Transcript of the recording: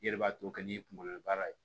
I yɛrɛ b'a to n'i kunkolo baara ye